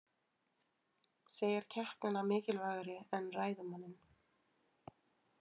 Segir keppnina mikilvægari en ræðumanninn